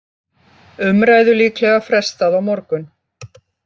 Umræðu líklega frestað á morgun